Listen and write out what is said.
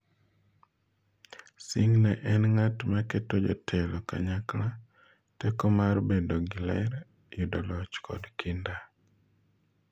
Singh ne en ng'at ma keto jotelo kanyakla, teko mar bedo gi ler, yudo loch kod kinda.